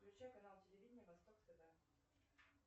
включай канал телевидения восток тв